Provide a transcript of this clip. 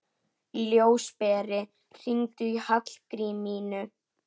Ljósberi, hringdu í Hallgrímínu.